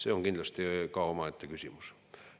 See on kindlasti ka omaette küsimus.